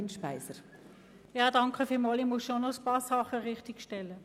Ein paar Dinge muss ich richtigstellen: